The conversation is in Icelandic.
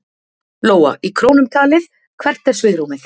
Lóa: Í krónum talið, hvert er svigrúmið?